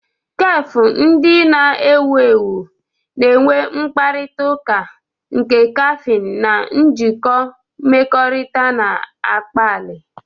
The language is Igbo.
Kefu ndị na-ewu ewu na-enwe mkparịta ụka, nke kaffin na njikọ mmekọrịta na-akpali.